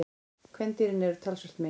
Kvendýrin eru talsvert minni.